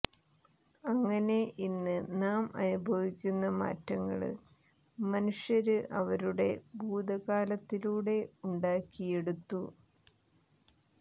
അങ്ങനെ ഇന്ന് നാം അനുഭവിക്കുന്ന മാറ്റങ്ങള് മനുഷ്യര് അവരുടെ ഭൂതകാലത്തിലൂടെ ഉണ്ടാക്കിയെടുത്തു